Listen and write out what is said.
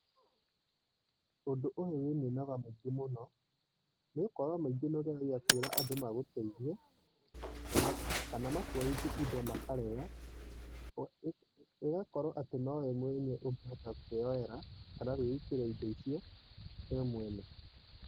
Ũndũ ũyũ wĩ mĩnoga mĩingĩ mũno, nĩgũkorũo maingĩ nĩ ũgeragia kwĩra andũ magũteithie, kana makuoithie indo makarega. Ĩgakorũo atĩ nowe mwene ũngĩhota kũĩyoera, kana kũĩitĩra indo icio we mwene.